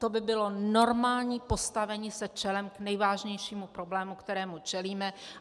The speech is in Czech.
To by bylo normální postavení se čelem k nejvážnějšímu problému, kterému čelíme.